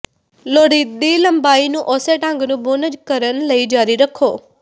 ਲੋੜੀਦੀ ਲੰਬਾਈ ਨੂੰ ਉਸੇ ਢੰਗ ਨੂੰ ਬੁਣ ਕਰਨ ਲਈ ਜਾਰੀ ਰੱਖੋ